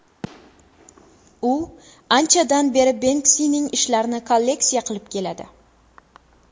U anchadan beri Benksining ishlarini kolleksiya qilib keladi.